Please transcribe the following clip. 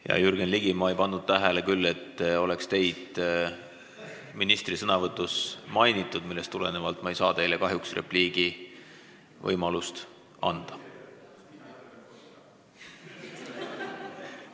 Hea Jürgen Ligi, ma ei pannud küll tähele, et teid oleks ministri sõnavõtus mainitud, millest tulenevalt ei saa ma teile kahjuks repliigivõimalust anda.